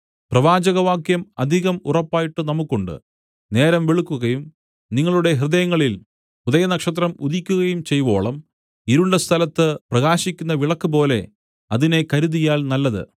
പ്രവാചകവാക്യം അധികം ഉറപ്പായിട്ട് നമുക്കുണ്ട് നേരം വെളുക്കുകയും നിങ്ങളുടെ ഹൃദയങ്ങളിൽ ഉദയനക്ഷത്രം ഉദിക്കുകയും ചെയ്‌വോളം ഇരുണ്ട സ്ഥലത്ത് പ്രകാശിക്കുന്ന വിളക്കുപോലെ അതിനെ കരുതിയാൽ നല്ലത്